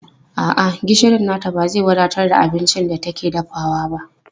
A'a, gishirin nata ba zai wadatar da abincin da take dafawa ba.